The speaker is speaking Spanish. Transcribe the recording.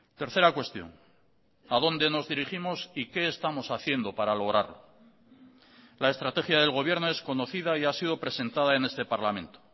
tercera cuestión adónde nos dirigimos y qué estamos haciendo para lograrlo la estrategia del gobierno es conocida y ha sido presentada en este parlamento